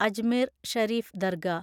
Ajmer Sharif dargah